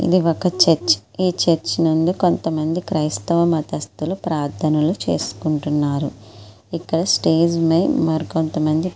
ఇది ఒక church . Church నందు కొంతమంది క్రైస్తవ మతస్తులు ప్రార్థనలు చేసుకుంటున్నారు. ఇక్కడ స్టేజి పైన కొంతమంది--